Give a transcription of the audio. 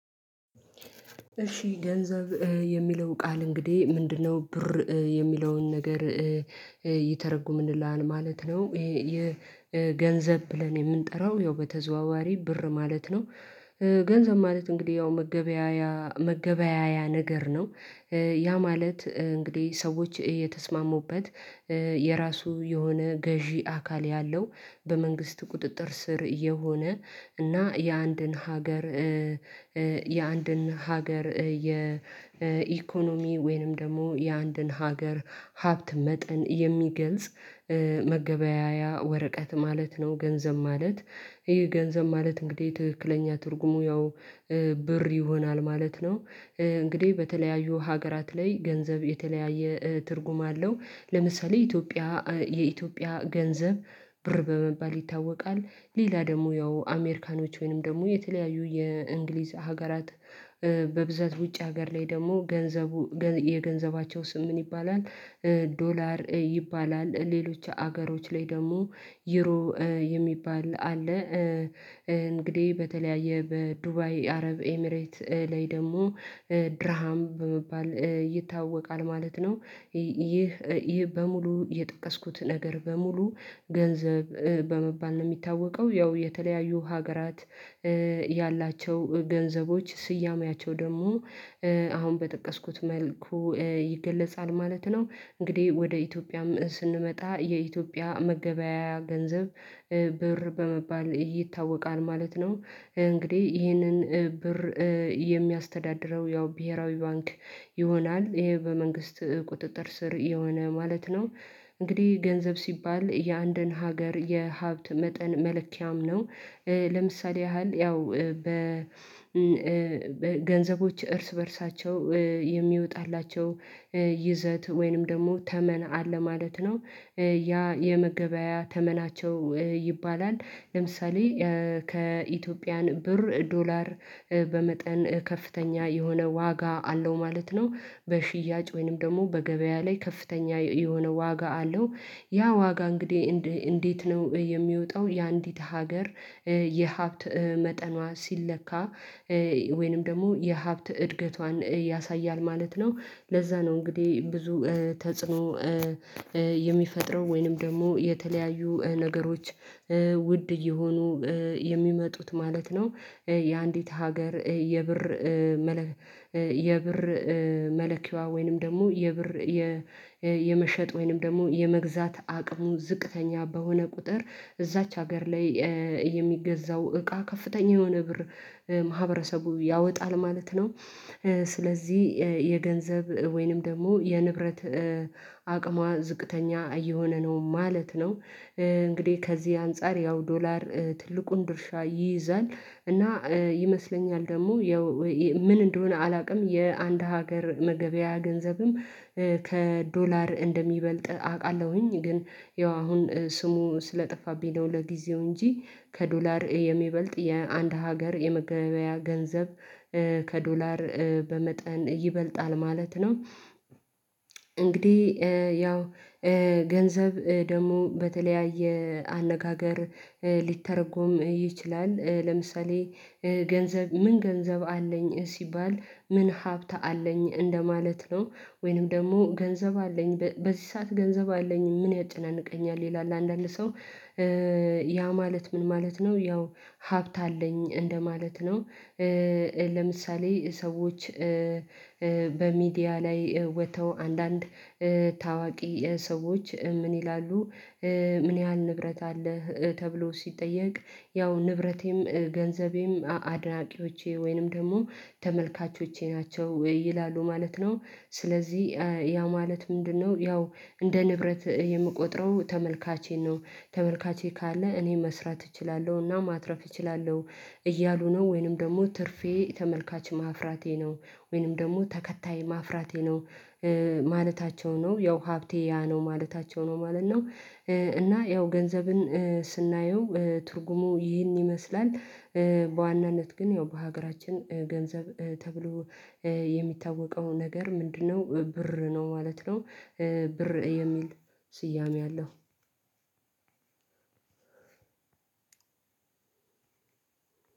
እሺ ገንዘብ የሚለው ቃል እንግዲህ ምንድነው? ብር የሚለውን ነገር ይተረጉምልናል ማለት ነው ይሄ ገንዘብ ብለን የምንጠራው ያው በተዘዋዋሪ ብር ማለትነው። ገንዘብ ማለት እንግዲህ ያው መገበያያ እንግዲህ ሰዎች የተስማሙበት የራሱ የሆነ ገዢ አካል ያለው በመንግስት ቁጥጥር ስር የሆነ እና የአንድን ሀገር የአንድን ሀገር የኢኮኖሚ ወይንም ደግሞ የአንድን ሀገር ሀብት መጠን የሚገልጽ መገበያያ ወረቀት ማለት ነው። ገንዘብ ማለት ይሄ ገንዘብ ማለት እንግዲህ ትክክለኛ ትርጉሙ ያው ብር ይሆናል ማለት ነው። እንግዲህ በተለያዩ ሀገራት ላይ ገንዘብ የተለያየ ትርጉም አለው ለምሳሌ ኢትዮጵያ የኢትዮጵያ ገንዘብ ብር በመባል ይታወቃል። ሌላ ደግሞ ያው አሜሪካኖች ወይንም ደግሞ የተለያዩ የእንግሊዝ ሀገራት በብዛት ውጭ ሀገር ላይ ደግሞ ገንዘቡ የገንዘባቸው ስም ምን ይባላል? ዶላር ይባላል ሌሎች ሀገሮች ላይ ደግሞ ዩሮ የሚባል አለ። እንግዲህ በተለያየ በዱባይ አረብ ኤሚሬት ላይ ደግሞ ድራሃም በመባል ይታወቃል ማለት ነው። ይህ ይህ በሙሉ የጠቀስኩት ነገር በሙሉ ገንዘብ በመባል ነው የሚታወቀው ያው የተለያዩ ሀገራት ያላቸው ገንዘቦች ስያሜያቸው ደግሞ አሁን በጠቀስኩት መልኩ ይገለጻል ማለት ነው። እንግዲህ ወደ ኢትዮጵያም ስንመጣ የኢትዮጵያ መገበያያ ገንዘብ ብር በመባል ይታወቃል ማለት ነው። እንግዲህ ይህንን ብር የሚያስተዳድረው ያው ብሄራዊ ባንክ ይሆናል ይሄ በመንግስት ቁጥጥር ስር የሆነ ማለት ነው። እንግዲህ ገንዘብ ሲባል የአንድን ሀገር የሀብት መጠን መለኪያም ነው። ለምሳሌ ያህል ያው በ ገንዘቦች እርስ በእርሳቸው የሚወጣላቸው ይዘት ወይንም ደግሞ ተመን አለ ማለት ነው። ያ የመገበያያ ተመናቸው ይባላል ለምሳሌ ከኢትዮጵያን ብር ዶላር በመጠን ከፍተኛ የሆነ ዋጋ አለው ማለት ነው። በሽያጭ ወይንም ደግሞ በገበያ ላይ ከፍተኛ የሆነ ዋጋ አለው። ያ ዋጋ እንግዲህ እንዴት ነው የሚወጣው የአንዲት ሀገር የሀብት መጠኗ ሲለካ ወይንም ደግሞ የሀብት እድገቷን ያሳያል ማለት ነው። ለዛ ነው እንግዲህ ብዙ ተጽዕኖ የሚፈጥረው ወይንም ደግሞ የተለያዩ ነገሮች ውድ እየሆኑ የሚመጡት ማለት ነው። የአንዲት ሀገር የብር የብር መለኪያዋ ወይንም ደግሞ የብር የመሸጥ ወይንም ደግሞ የመግዛት አቅሙ ዝቅተኛ በሆነ ቁጥር እዛች ሀገር ላይ የሚገዛው እቃ ከፍተኛ የሆነ ብር ማህበረሰቡ ያወጣል ማለት ነው። ስለዚህ የገንዘብ ወይንም ደግሞ የንብረት አቅሟ ዝቅተኛ እየሆነ ነው ማለት ነው። እንግዲህ ከዚህ አንፃር ያው ዶላር ትልቁን ድርሻ ይይዛል። እና ይመስለኛል ደግሞ ምን እንደሆነ አላውቅም። የአንድ ሀገር መገበያያ ገንዘብም ከዶላር እንደሚበልጥ አውቃለሁኝ ግን ያው አሁን ስሙ ስለጠፋብኝ ነው ለጊዜው እንጂ ከዶላር የሚበልጥ የአንድ ሀገር የመገበያያ ገንዘብ ከዶላር በመጠን ይበልጣል ማለት ነው። እንግዲህ ያው ገንዘብ ደግሞ በተለያየ አነጋገር ሊተረጎም ይችላል ለምሳሌ ገንዘብ ምን ገንዘብ አለኝ ሲባል ምን ሀብት አለኝ እንደማለት ነው። ወይንም ደግሞ ገንዘብ አለኝ በዚህ ሰዓት ገንዘብ አለኝ ምን ያጨናንቀኛል ይላል አንዳንድ ሰው። ያ ማለት ምን ማለት ነው? ያው ሀብት አለኝ እንደማለት ነው። ለምሳሌ ሰዎች በሚዲያ ላይ ወጥተው አንዳንድ ታዋቂ ሰዎች ምን ይላሉ? ምን ያህል ንብረት አለህ ተብሎ ሲጠየቅ? ያው ንብረቴም ገንዘቤም አድናቂዎቼ ወይንም ደግሞ ተመልካቾቼ ናቸው ይላሉ ማለት ነው። ስለዚህ ያ ማለት ምንድነው? ያው እንደ ንብረት የምቆጥረው ተመልካቼን ነው ተመልካቼ ካለ እኔ መስራት እችላለሁና ማትረፍ እችላለሁ። እያሉ ነው ወይንም ደግሞ ትርፌ ተመልካች ማፍራቴ ነው። ወይንም ደግሞ ተከታይ ማፍራቴ ነው። ማለታቸው ነው ያው ሀብቴ ያ ነው ማለታቸው ነው ማለት ነው። እና ያው ገንዘብን ስናየው ትርጉሙ ይህን ይመስላል በዋናነት ግን ያው በሀገራችን ገንዘብ ተብሎ የሚታወቀው ነገር ምንድነው ብር ነው ማለት ነው። ብር የሚል ስያሜ አለው።